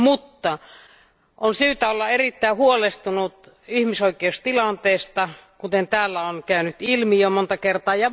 Mutta on syytä olla erittäin huolestunut ihmisoikeustilanteesta, kuten täällä on käynyt ilmi jo monta kertaa.